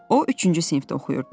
O üçüncü sinifdə oxuyurdu.